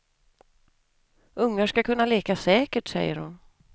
Ungar ska kunna leka säkert, säger hon.